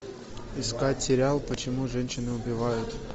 искать сериал почему женщины убивают